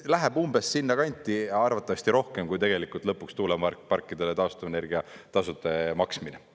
Läheb umbes sinna kanti, arvatavasti rohkem, kui tegelikult lõpuks tuuleparkidele taastuvenergia tasude maksmine.